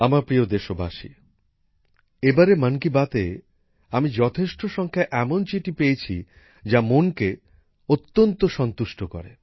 আমার প্রিয় দেশবাসী এবারের মন কি বাতে আমি যথেষ্ট সংখ্যায় এমন চিঠি পেয়েছি যা মনকে ভালো করে দেয়